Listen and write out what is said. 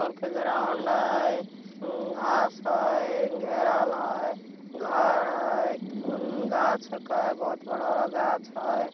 बड़का ग्राउंड है उउ घास है घेराल है घर हई उ उ गाछ है कई बहुत बड़ा गाछ हई ।